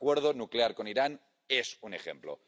el acuerdo nuclear con Irán es un ejemplo